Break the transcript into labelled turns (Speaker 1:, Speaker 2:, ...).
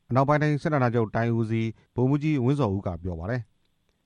Speaker 1: အနောက်ပိုင်းတိုင်းစစ်ဌာနချုပ် တိုင်းဦးစီး ဗိုလ်မှူးကြီး ဝင်းဇော်ဦး က RFA ကို ပြောပါတယ